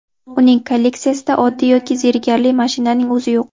Uning kolleksiyasida oddiy yoki zerikarli mashinaning o‘zi yo‘q.